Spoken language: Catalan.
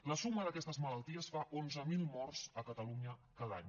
la suma d’aquestes malalties fa onze mil morts a catalunya cada any